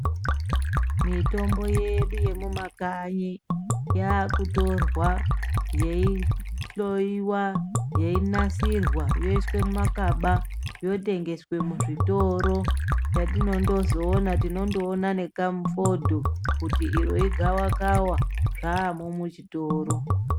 Mitombo yedu yemumekanyi yakutorwa yei hloiwa yeinasirwa yoiswe mumakaba yotengeswa muzvitoro , yatinozondoona ,tinozoona nekamufodho kuti iro igawakawa zvamo muchitoro.